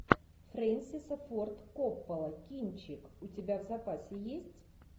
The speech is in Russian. фрэнсиса форд коппола кинчик у тебя в запасе есть